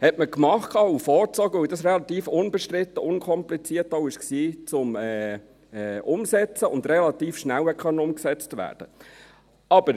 Das hat man gemacht und vorgezogen, weil es relativ unbestritten und auch unkompliziert umzusetzen war und relativ schnell umgesetzt werden konnte.